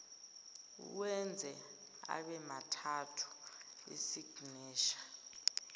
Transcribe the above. uwenze abemathathu isignesha